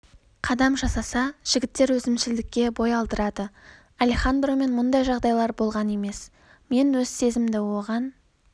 қадам жасаса жігіттер өзімшілдікке бой алдырады алехандромен мұндай жағдайлар болған емес мен өз сезімімді оған